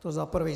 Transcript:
To za prvé.